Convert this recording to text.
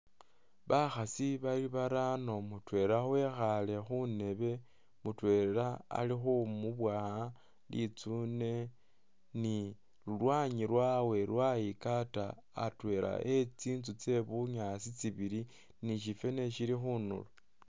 Bakhasi bali barano mutwela ekhale khundebe mutwela ili khumubowa litsune ni lulwanyi lwawe lwayikata atwela e’tsitsu tse bunyaasi tsibili nishi fwene sili khunduro.